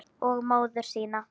Og móður sína.